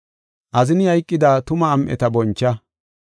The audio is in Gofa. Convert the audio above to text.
Azini hayqida tuma am7eta boncha.